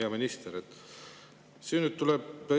Hea minister!